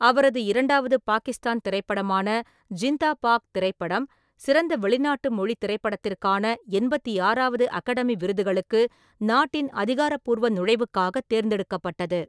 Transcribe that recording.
அவரது இரண்டாவது பாகிஸ்தான் திரைப்படமான ஜிண்தா பாக் திரைப்படம் சிறந்த வெளிநாட்டு மொழித் திரைப்படத்திற்கான எண்பத்தி ஆறாவது அகாடமி விருதுகளுக்கு நாட்டின் அதிகாரப்பூர்வ நுழைவுக்காகத் தேர்ந்தெடுக்கப்பட்டது.